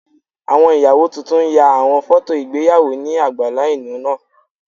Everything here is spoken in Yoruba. Awọn iyawo tuntun ya awọn fọto igbeyawo ni agbala ilu naa